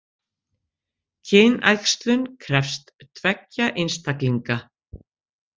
Kynæxlun krefst tveggja einstaklinga.